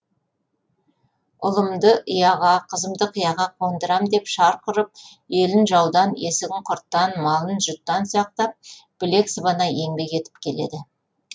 ұлымды ұяға қызымды қияға қондырам деп шарқ ұрып елін жаудан есігін құрттан малын жұттан сақтап білек сыбана еңбек етіп келеді